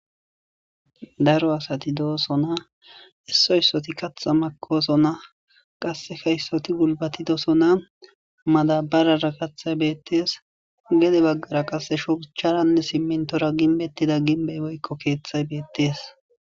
Daro asati deosona iso isotika kata makosona qaseka isoti gulibatidosona madabarara katay betes gede bagara qase shucharanne simintora gimbetira gimbe woykko keeththay betes.